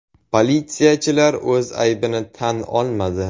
Politsiyachilar o‘z aybini tan olmadi.